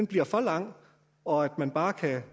bliver for lang og at man bare